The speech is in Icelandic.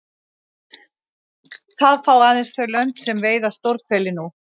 Það fá aðeins þau lönd sem veiða stórhveli nú.